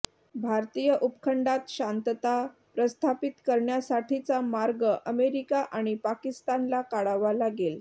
भारतीय उपखंडात शांतता प्रस्थापित करण्यासाठीचा मार्ग अमेरिका आणि पाकिस्तानला काढावा लागेल